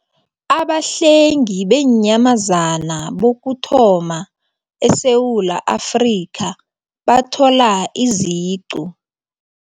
Abahlengi Beenyamazana Bokuthoma ESewula Afrika Bathola Iziqu